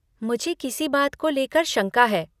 मुझे किसी बात को लेकर शंका है।